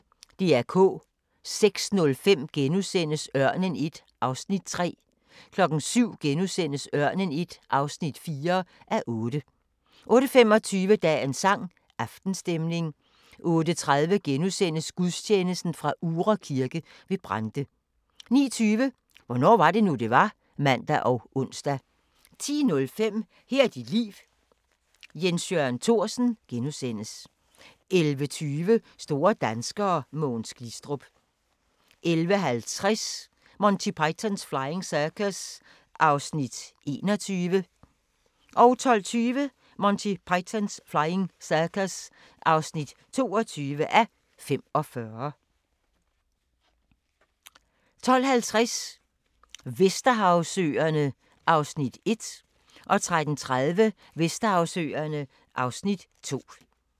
06:05: Ørnen I (3:8)* 07:00: Ørnen I (4:8)* 08:25: Dagens sang: Aftenstemning 08:30: Gudstjeneste fra Uhre Kirke ved Brande * 09:20: Hvornår var det nu, det var? (man og ons) 10:05: Her er dit liv – Jens Jørgen Thorsen * 11:20: Store danskere: Mogens Glistrup 11:50: Monty Python's Flying Circus (21:45) 12:20: Monty Python's Flying Circus (22:45) 12:50: Vesterhavsøerne (Afs. 1)